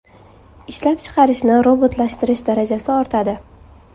Ishlab chiqarishni robotlashtirish darajasi ortadi.